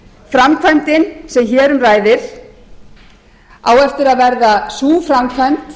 framkvæmdin sem hér um ræðir á eftir að verða sú framkvæmd